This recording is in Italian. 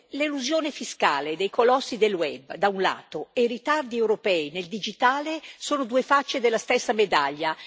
L'elusione fiscale dei colossi del web, da un lato, e i ritardi europei nel digitale, dall'altro, sono due facce della stessa medaglia.